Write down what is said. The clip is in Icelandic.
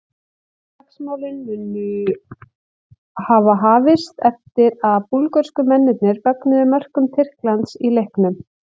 Slagsmálin munu hafa hafist eftir að búlgörsku mennirnir fögnuðu mörkum Tyrklands í leiknum.